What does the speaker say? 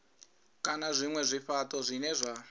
kana zwinwe zwifhato zwine zwa